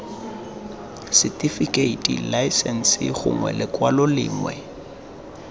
setifikeiti laesense gongwe lekwalo lengwe